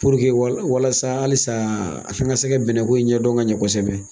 walasa halisa a k'an kɛ se ka bɛnnɛko in ɲɛ dɔn ka ɲɛ kosɛbɛ.